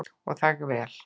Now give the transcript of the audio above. Og það vel.